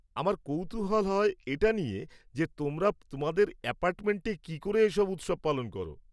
আমার কৌতূহল হয় এটা নিয়ে যে, তোমরা তোমাদের এপার্টমেন্টে কী করে এসব উৎসব পালন করো।